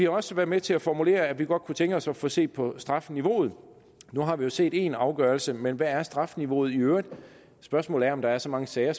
også været med til at formulere at vi godt kunne tænke os at få set på strafniveauet nu har vi jo set én afgørelse men hvad er strafniveauet i øvrigt spørgsmålet er om der er så mange sager